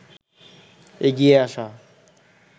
এগিয়ে আসা